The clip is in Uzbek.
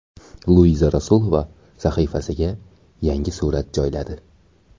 Luiza Rasulova sahifasiga yangi surat joyladi.